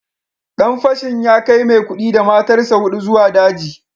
Dan fashin ya kai Maikudi da matarsa ​​hudu zuwa daji